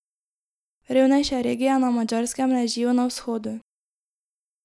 Revnejše regije na Madžarskem ležijo na vzhodu.